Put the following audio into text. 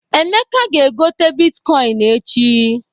Emeka ga-egote bitkọịn echi.